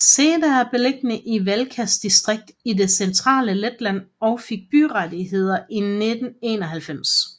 Seda er beliggende i Valkas distrikt i det centrale Letland og fik byrettigheder i 1991